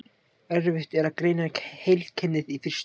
Erfitt er að greina heilkennið í fyrstu.